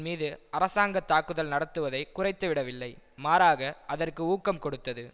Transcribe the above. மீது அரசாங்க தாக்குதல் நடத்துவதைக் குறைத்துவிடவில்லை மாறாக அதற்கு ஊக்கம் கொடுத்தது